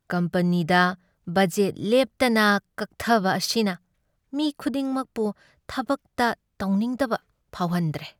ꯀꯝꯄꯅꯤꯗ budget ꯂꯦꯞꯇꯅ ꯀꯛꯊꯕ ꯑꯁꯤꯅ ꯃꯤ ꯈꯨꯗꯤꯡꯃꯛꯄꯨ ꯊꯕꯛꯇ ꯇꯧꯅꯤꯡꯗꯕ ꯐꯥꯎꯍꯟꯗ꯭ꯔꯦ꯫